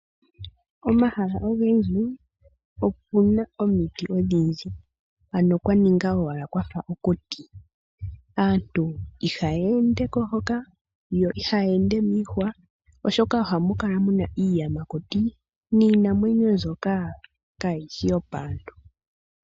Omahala ogendji opuna omiti odhindji ,ano kwaninga owala kwafa okuti. Aantu ihaya ende ko hoka ,yo ihaya ende miihwa, oshoka ohamu kala muna iiyamakuti niinamwenyo mbyoka kaayishi yoopaantu.